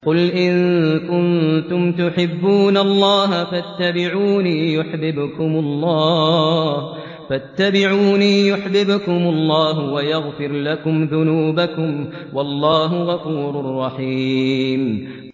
قُلْ إِن كُنتُمْ تُحِبُّونَ اللَّهَ فَاتَّبِعُونِي يُحْبِبْكُمُ اللَّهُ وَيَغْفِرْ لَكُمْ ذُنُوبَكُمْ ۗ وَاللَّهُ غَفُورٌ رَّحِيمٌ